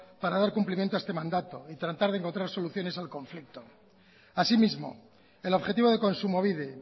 para dar cumplimiento a este mandato y tratar de encontrar soluciones al conflicto asimismo el objetivo de kontsumobide